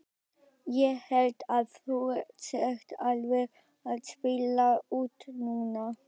Ég held að þú sért alveg að spila út núna!